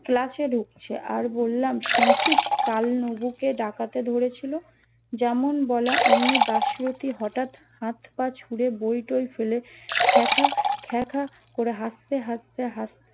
class এ ঢুকছে আর বললাম শুনছিস কাল নবু কে ডাকতে ধরেছিল যেমন বলা অমনি দাসরথি হটাৎ হাত পায়ে ছুড়ে বইটই ফেলে খ্যাঁকা খ্যাঁকা করে হাসতে হাসতে হাত